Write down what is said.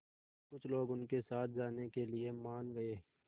कुछ लोग उनके साथ जाने के लिए मान गए